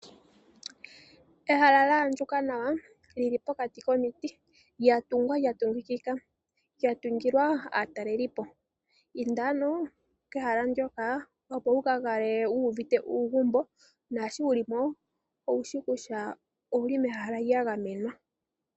Ehala la andjuka nawa lili pokati komiti lya tungwa lya tungikika, lya tungilwa aatalelipo. Inda ano kehala ndoka opo wu ka kale wu uvite uugumbo, naashoka wuli mo owushi kutya owuli mehala lya gamenwa.